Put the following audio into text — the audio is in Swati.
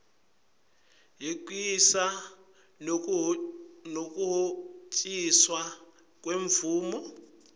yekusisa nekuhociswa kwemvumo